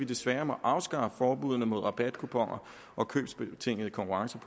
desværre må afskaffe forbuddene mod rabatkuponer og købsbetingede konkurrencer